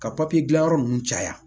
Ka papiye dilan yɔrɔ ninnu caya